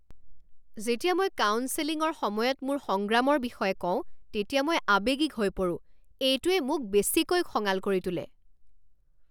যেতিয়া মই কাউন্সেলিঙৰ সময়ত মোৰ সংগ্ৰামৰ বিষয়ে কওঁ তেতিয়া মই আৱেগিক হৈ পৰো। এইটোৱে মোক বেছিকৈ খঙাল কৰি তোলে।